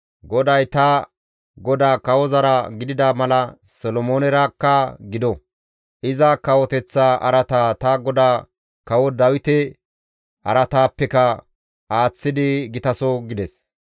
GODAY, ta godaa kawozara gidida mala Solomoonerakka gido; iza kawoteththaa araata ta godaa kawo Dawite araataappeka aaththidi gitaso» gides.